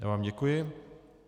Já vám děkuji.